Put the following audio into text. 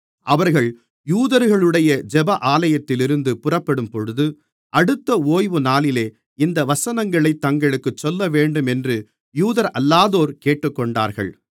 அவர்கள் யூதர்களுடைய ஜெப ஆலயத்திலிருந்து புறப்படும்பொழுது அடுத்த ஓய்வுநாளிலே இந்த வசனங்களைத் தங்களுக்குச் சொல்லவேண்டும் என்று யூதரல்லாதோர் கேட்டுக்கொண்டார்கள்